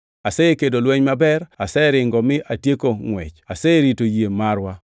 Asekedo lweny maber, aseringo mi atieko ngʼwech, aserito yie marwa,